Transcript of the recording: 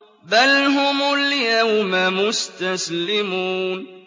بَلْ هُمُ الْيَوْمَ مُسْتَسْلِمُونَ